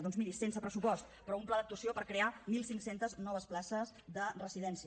doncs miri sense pressupost però un pla d’actuació per crear mil cinc cents noves places de residència